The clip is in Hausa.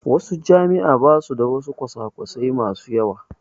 Wasu jami'ar basu da wasu kwasa kwasai mai yawa